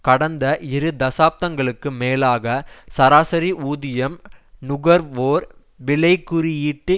கடந்த இரு தசாப்தங்களுக்கு மேலாக சராசரி ஊதியம் நுகர்வோர் விலைகுறியீட்டு